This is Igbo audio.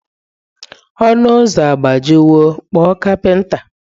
Ọnụ ụzọ agbajiwo, kpọọ kapinta.